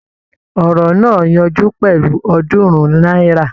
Ọ̀rọ̀ náà yanjú pẹ̀lú Ọ̀ọ́dúnrún náírà